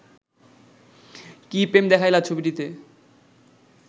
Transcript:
কি প্রেম দেখাইলা ছবিটিতে